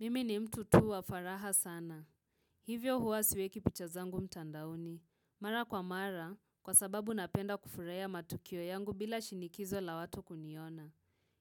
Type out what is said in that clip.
Mimi ni mtu tu wa faraha sana. Hivyo huwa siweki picha zangu mtandaoni. Mara kwa mara, kwa sababu napenda kufurahia matukio yangu bila shinikizo la watu kuniona.